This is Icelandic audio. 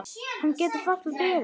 Hann getur varla beðið.